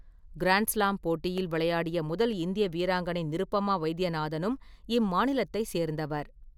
Grand slam போட்டியில் விளையாடிய முதல் இந்திய வீராங்கனை நிருபமா வைத்தியநாதனும் இம்மாநிலத்தை சேர்ந்தவர்.